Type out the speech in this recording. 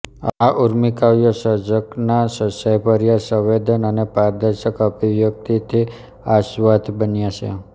આ ઊર્મિકાવ્યો સર્જકના સચ્ચાઈભર્યા સંવેદન અને પારદર્શક અભિવ્યક્તિથી આસ્વાદ્ય બન્યાં છે